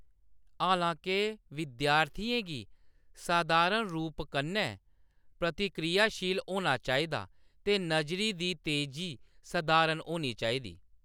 हालां-के, विद्यार्थियें गी सधारण रूप कन्नै प्रतिक्रियाशील होना चाहिदा, ते नजरी दी तेजी सधारण होनी चाहिदी।